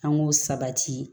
An k'o sabati